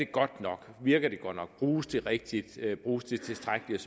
godt nok virker det godt nok bruges det rigtigt bruges det tilstrækkeligt